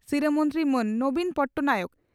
ᱥᱤᱨᱟᱹ ᱢᱚᱱᱛᱨᱤ ᱢᱟᱱ ᱱᱚᱵᱤᱱ ᱯᱚᱴᱱᱟᱭᱮᱠ